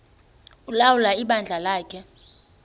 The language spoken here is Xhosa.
ulawula ibandla lakhe